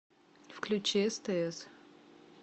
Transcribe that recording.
включи стс